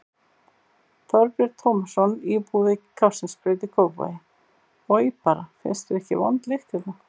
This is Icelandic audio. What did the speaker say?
Þorbjörn Tómasson, íbúi við Kársnesbraut í Kópavogi: Oj bara, finnst þér ekki vond lykt hérna?